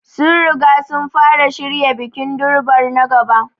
Sun riga sun fara shirya bikin Durbar na gaba.